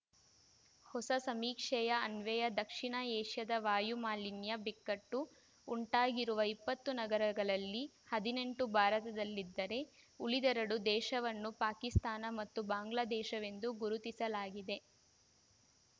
ಹೊಸ ಸಮೀಕ್ಷೆಯ ಅನ್ವಯ ದಕ್ಷಿಣ ಏಷ್ಯಾದ ವಾಯು ಮಾಲಿನ್ಯ ಬಿಕ್ಕಟ್ಟು ಉಂಟಾಗಿರುವ ಇಪ್ಪತ್ತು ನಗರಗಳಲ್ಲಿ ಹದಿನೆಂಟು ಭಾರತದಲ್ಲಿದ್ದರೇ ಉಳಿದೆರಡು ದೇಶವನ್ನು ಪಾಕಿಸ್ತಾನ ಮತ್ತು ಬಾಂಗ್ಲಾ ದೇಶವೆಂದು ಗುರುತಿಸಲಾಗಿದೆ